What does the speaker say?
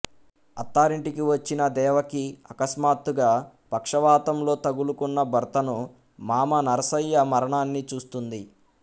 అత్తారింటికి వచ్చిన దేవకి అకస్మాత్తుగా పక్షవాతంలో తగులుకున్న భర్తను మామ నరసయ్య మరణాన్ని చూస్తుంది